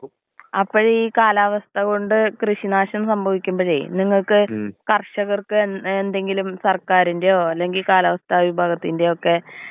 ഓ, അപ്പഴ് ഞാൻ കേക്കട്ട്, ഇപ്പൊ അലർജിയൊക്കെ തൗസന്‍റ് ഇരുന്നാലും നമ്മള് ഈ മരുന്ന് കൊടുത്ത് കുറഞ്ഞതിന് ശേഷവും, ഈ കാലാവസ്ഥ ചേഞ്ച് ആവുമ്പഴ് തിരിച്ച് വരാൻ ചാൻസ് ഉണ്ടല്ലേ?